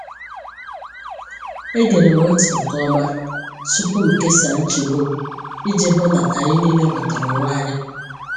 Egere m ntị nke ọma tupu m kesaa nchegbu m, iji hụ na anyị niile ghọtara onwe anyị.